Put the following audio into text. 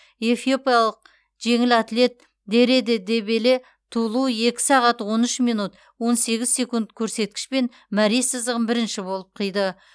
эфиопиялық жеңіл атлет дереде дебеле тулу екі сағат он үш минут он сегіз секунд көрсеткішпен мәре сызығын бірінші болып қиды